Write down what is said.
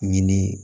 Ɲini